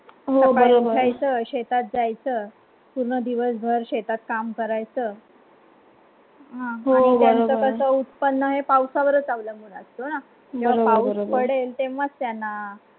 हो बरोबर आहे. शेतात जायचं पूर्ण दिवसभर शेतात काम करायचं हो बरोबर हां होईल त्याचं उत्पन्न आहे. पावसावरच अवलंबून असतो ना जर पाऊस पडेल ते मग त्यांना.